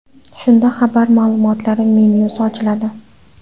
Shunda xabar ma’lumotlari menyusi ochiladi.